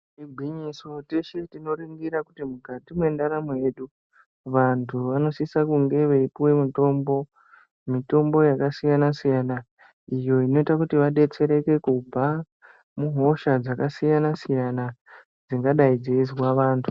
Igwinyiso, teshe tinoringira kuti mukati mwendaramo yedu vantu vanosisa kunge vaipuwe mitombo, mitombo yakasiyana-siyana iyo inoite kuti vadetsereke kubva muhosha dzakasiyana-siyana dzingadai dzeizwa vantu.